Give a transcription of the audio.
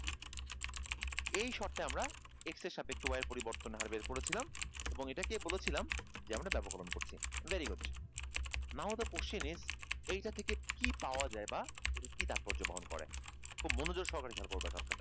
এই শর্তে আমরা x এর সাপেক্ষে y এর পরিবর্তনের হার বের করেছিলাম এবং এটা কে বলেছিলাম যে আমরা ব্যাপককরণ করছি very good now the question is এই ক্ষেত্রে কি কি পাওয়া যায় বা কি তাৎপর্য বহন করে, খুব মনোযোগ সহকারে খেয়াল করবে